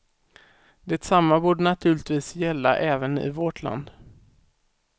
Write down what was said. Detsamma borde naturligtvis gälla även i vårt land.